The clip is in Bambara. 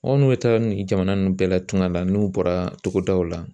Anw n'u bɛ taa nin jamana ninnu bɛɛ la tuŋa la n'u bɔra togodaw la.